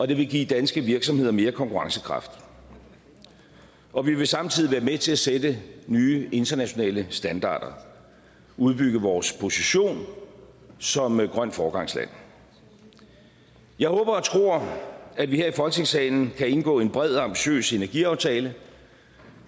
det vil give danske virksomheder mere konkurrencekraft og vi vil samtidig være med til at sætte nye internationale standarder og udbygge vores position som grønt foregangsland jeg håber og tror at vi her i folketingssalen kan indgå en bred og ambitiøs energiaftale